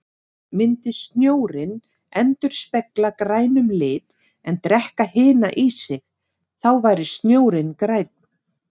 Myndi snjórinn endurspegla grænum lit en drekka hina í sig, þá væri snjórinn grænn.